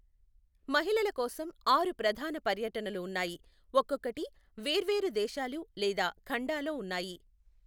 మహిళల కోసం ఆరు ప్రధాన పర్యటనలు ఉన్నాయి, ఒక్కొక్కటి వేర్వేరు దేశాలు లేదా ఖండాలో ఉన్నాయి.